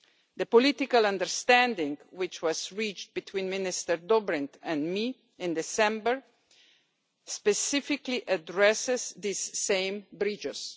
The political understanding which was reached between Minister Dobrindt and me in December specifically addresses these same breaches.